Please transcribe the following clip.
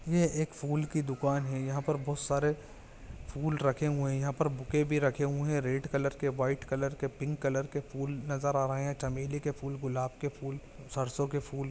ये एक फूल की दुकान है यहाँ पर बहुत सारे फूल रखे हुए है यहाँ पर बुके भी रखे हुए है रेड कालर के व्हाइट कलर के पिंक कलर के फूल नजर आ रहे है चमेली के फूल गुलाब के फूल सरसो के फूल--